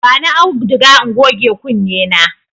Bani auduga in goge kunne na.